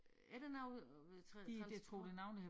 Er det noget øh transport?